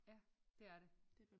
Ja det er det